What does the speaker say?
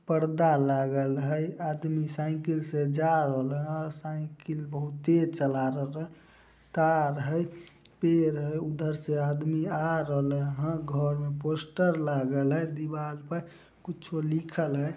पर्दा लागल हेय आदमी साइकिल से जा रहले हेय साइकिल बहोत तेज चला रहले कार हेय पेड़ हेय उधर से आदमी आ रहल हेय घर में पोस्टर लागल हेय दीवाल पर कुछो लिखल हेय।